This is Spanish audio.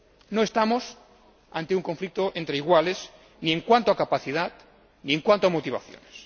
No estamos ante un conflicto entre iguales, ni en cuanto a capacidad, ni en cuanto a motivaciones.